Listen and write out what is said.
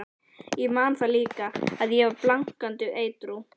Ég man það líka, að ég var blankandi edrú.